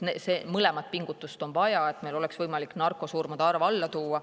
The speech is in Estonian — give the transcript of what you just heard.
Mõlemat pingutust on vaja, et meil oleks võimalik narkosurmade arv alla tuua.